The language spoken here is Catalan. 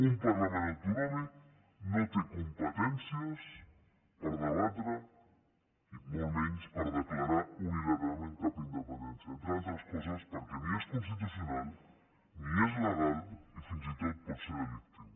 un parlament autonòmic no té competències per debatre ni molt menys per declarar unilateralment cap independència entre altres coses perquè ni és constitucional ni és legal i fins i tot pot ser delictiu